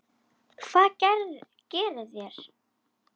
Hvað gerið þér?